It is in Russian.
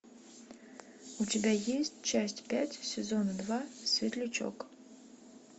у тебя есть часть пять сезона два светлячок